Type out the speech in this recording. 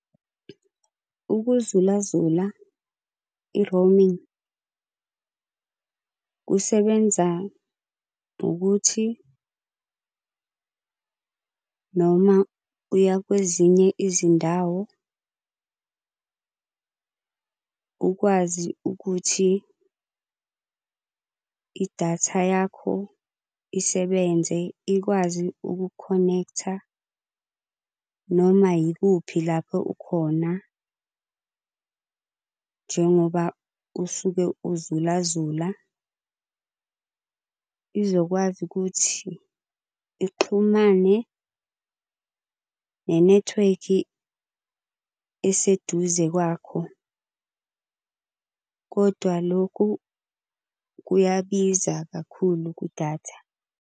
Ukuzulazula i-roaming, kusebenza ngokuthi noma uya kwezinye izindawo ukwazi ukuthi idatha yakho isebenze ikwazi ukukhonektha noma yikuphi lapho ukhona. Njengoba usuke uzulazula izokwazi ukuthi ixhumane nenethiwekhi eseduze kwakho. Kodwa lokhu kuyabiza kakhulu kudatha.